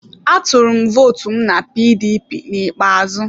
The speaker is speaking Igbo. Atụrụ m votu m na PDP n'ikpeazụ.